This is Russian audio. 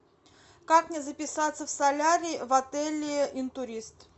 как мне записаться в солярий в отеле интурист